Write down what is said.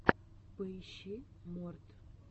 поищи морт